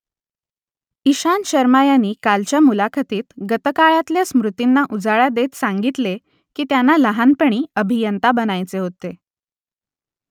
इशांत शर्मा यांनी कालच्या मुलाखतीत गतकाळातल्या स्मृतींना उजाळा देत सांगितले की त्यांना लहानपणी अभियंता बनायचे होते